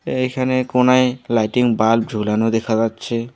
এইখানে কোনায় lighting bulb ঝুলানো দেখা যাচ্ছে।